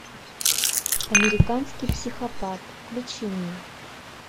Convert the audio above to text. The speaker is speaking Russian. американский психопат включи мне